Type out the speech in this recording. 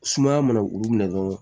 Sumaya mana olu minɛ dɔrɔn